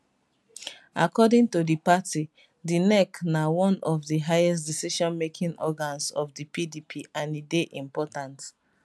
according to di party di nec na one of di highest decisionmaking organs of di pdp and e dey important